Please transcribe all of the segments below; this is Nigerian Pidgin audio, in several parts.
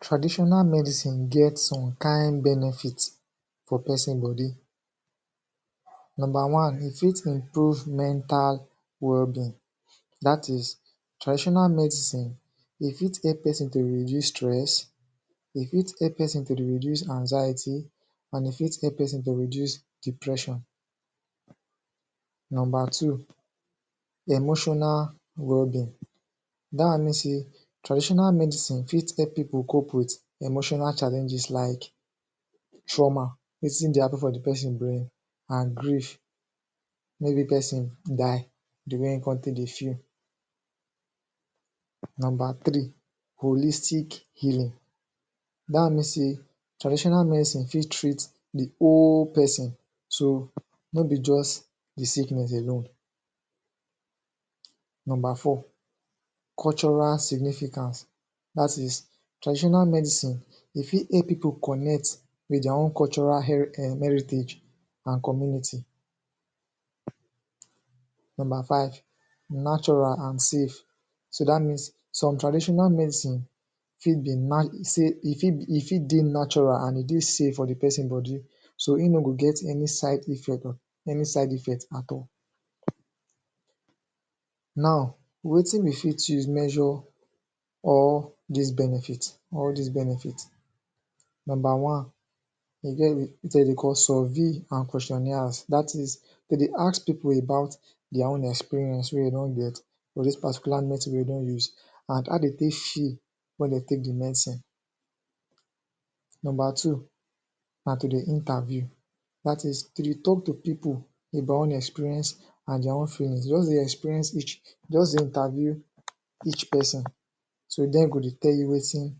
Traditional medicine get some kind benefits for person body Number one, e fit improve mental wellbeing dat is, traditional medicine e fit help person to dey reduce stress e fit help person to dey reduce anxiety and e fit help person to reduce depression. Number two, emotional wellbeing dat one mean say traditional medicine fit help people cope with emotional challenges like trauma wetin dey happen for di person brain and grief maybe person die, di way wey im come take dey feel Number three, holistic healing dat one mean say traditional medicine fit treat di whole person so, no bi just the sickness alone. Number four, cultural significance dat is, traditional medicine e fit help pipo connect with dia own cultural um heritage and community Number five, natural and safe so dat means some traditional medicine, e fit dey natural and e dey safe for di person body so im no go get any side effect at all Now, wetin we fit use measure all dis benefit all dis benefit number one, dey get wetin dem call survey and questionaires dat is dem dey ask pipo about dia own experience wey dem don get for dis particular medicine wey dem use and how dem take feel wen dem take di medicine Number two, na to dey interview dat is to dey talk to pipo about dia own experienece and dia own feelings, just dey experience each, just dey interview each person so, dem go dey tell you wetin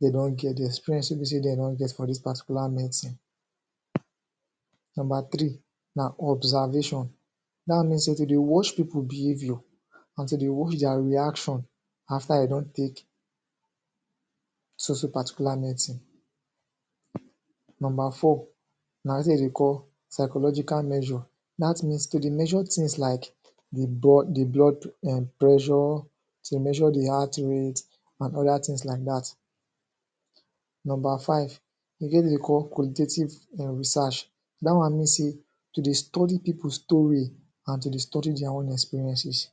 dem don get, di experience wey be say dem don get for dis particular medicine Number three, na observation dat one mean say to dey watch people behaviour until dem watch dia reaction after dem don take so so particular medicine. Number four na wetin dem dey call psychological measure dat means to dey measure tins like di blood um preasure to dey measure di heart rate and other tins like dat. Number five, e get wetin dem dey call qualitative reasearch dat one mean say to dey study people story and to dey study dia own experiences